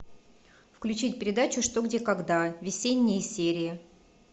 включить передачу что где когда весенние серии